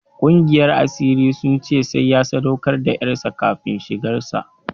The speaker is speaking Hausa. Ƙungiyar asirin sun ce sai ya sadaukar da ƴarsa kafin shigar sa.